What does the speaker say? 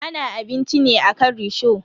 Ana abinci ne akan risho.